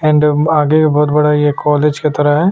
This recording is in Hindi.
एंड आगे बहुत बड़ा यह कॉलेज की तरह है।